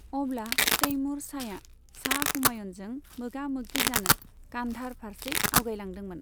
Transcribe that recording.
अब्ला तैमुर शाहया शाह हुमायूनजों मोगा मोगि जानो कान्धार फारसे आवगायलांदोंमोन।